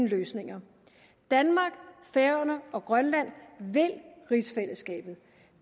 løsninger danmark færøerne og grønland vil rigsfællesskabet